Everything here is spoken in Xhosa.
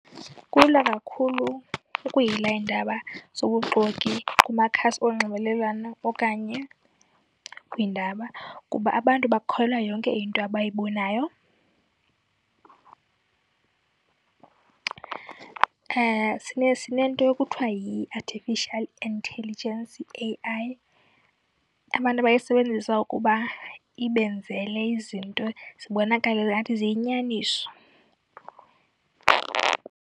Kulula kakhulu ukuyila iindaba zobuxoki kumakhasi onxibelelwano okanye kwiindaba kuba abantu bakholelwa yonke into abayibonayo. Sinento ekuthiwa yi-artificial intelligence, i-A_I, abantu abayisebenzisa ukuba ibenzele izinto zibonakale ngathi ziyinyaniso.